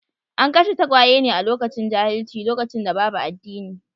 An kashe tagwaye ne a lokacin jahilci, lokacin da babu addini.